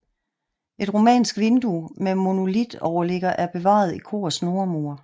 Et romansk vindue med monolitoverligger er bevaret i korets nordmur